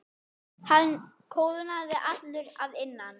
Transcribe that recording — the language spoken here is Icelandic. Hann kólnaði allur að innan.